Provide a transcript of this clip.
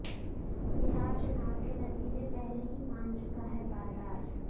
बिहार चुनाव के नतीजे पहले ही मान चुका है बाजार